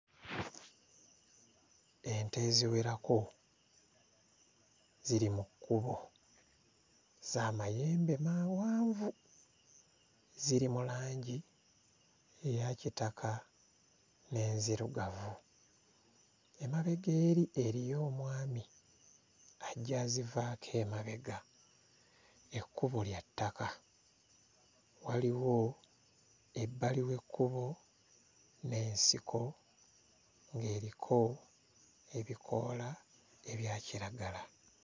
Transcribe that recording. Ente eziwerako ziri mu kkubo za mayembe mawanvu ziri mu langi eya kitaka n'enzirugavu emabega eri eriyo omwami ajja azivaako emabega ekkubo lya ttaka waliwo ebbali w'ekkubo n'ensiko ng'eriko ebikoola ebya kiragala.